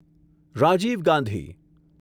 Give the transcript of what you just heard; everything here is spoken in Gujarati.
રાજીવ ગાંધી